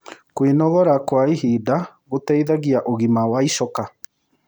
Kwĩnogora ĩhĩda kwa ĩhĩda gũteĩthagĩa ũgima wa ĩchoka